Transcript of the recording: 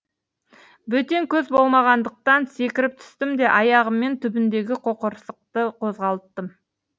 бөтен көз болмағандықтан секіріп түстім де аяғыммен түбіндегі қоқырсықты қозғалттым